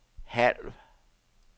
halv